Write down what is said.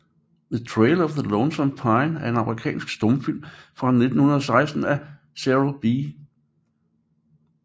The Trail of the Lonesome Pine er en amerikansk stumfilm fra 1916 af Cecil B